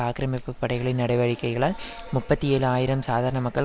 ஆக்கிரமிப்பு படைகளின் நடவடிக்கைகளால் முப்பத்தி ஏழு ஆயிரம் சாதாரண மக்கள்